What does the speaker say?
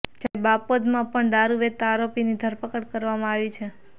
જ્યારે બાપોદમાં પણ દારૃ વેચતા આરપીની ધરપકડ કરવામાં આવી છે